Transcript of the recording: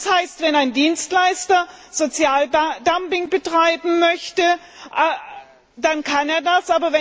Das heißt, wenn ein Dienstleister Sozialdumping betreiben möchte, dann kann er das.